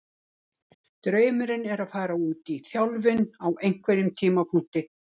Draumurinn er að fara út í þjálfun á einhverjum tímapunkti.